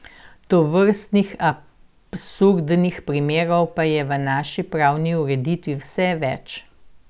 Tovrstnih absurdnih primerov pa je v naši pravni ureditvi vse več.